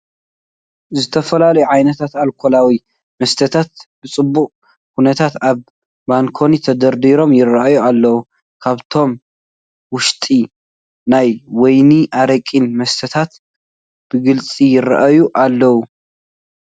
ዝተፈላለዩ ዓይነታት ኣልኮላዊ መስተታት ብፅቡቕ ኩነታት ኣብ ባንኮኒ ተደርዲሮም ይርአዩ ኣለዉ፡፡ ካብዚኣቶም ውሽጢ ናይ ወይንን ኣረቅን መስተታት ብግልፂ ይርአዩ ኣለዉ፡፡